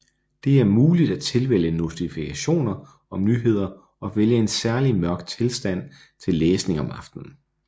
Det er muligt at tilvælge notifikationer om nyheder og vælge en særlig mørk tilstand til læsning om aftenen